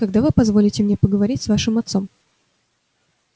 когда вы позволите мне поговорить с вашим отцом